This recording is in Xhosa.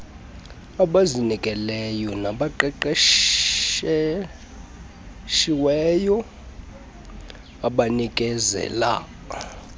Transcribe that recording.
abazinikeleyo nabaqeqeshiweyo abanikezela